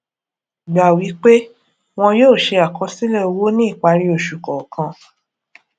gbà wí pé wọn yóò ṣe àkọsílẹ owó ní ìparí oṣù kọọkan